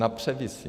Na převisy.